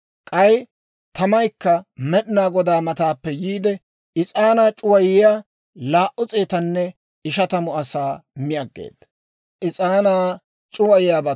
K'ay tamaykka Med'inaa Godaa mataappe yiide, is'aanaa c'uwayiyaa laa"u s'eetanne ishatamu asaa mi aggeeda.